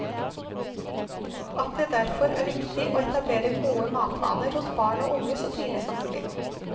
At det derfor er det viktig å etablere gode matvaner hos barn og unge så tidlig som mulig.